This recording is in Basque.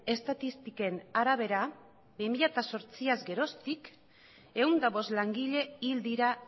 estatistiken arabera bi mila zortziaz geroztik ehun eta bost langile hil dira